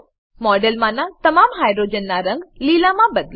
મોડેલમાનાં તમામ હાઈડ્રોજનનાં રંગ લીલામાં બદલો